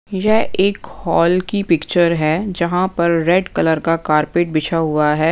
यह एक हॉल की पिक्चर है जहाँ पर रेड कलर का कारपेट बिछा हुआ है।